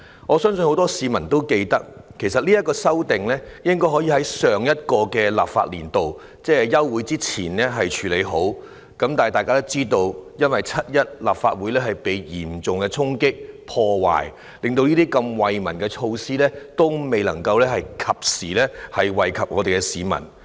我相信很多市民也記得，其實這項《條例草案》本應在上一個立法年度，即休會之前處理好，但大家也知道，在7月1日，立法會遭受嚴重衝擊和破壞，令這些惠民措施未能及時惠及市民。